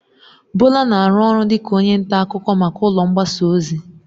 Bola na-arụ ọrụ dịka onye nta akụkọ maka ụlọ mgbasa ozi.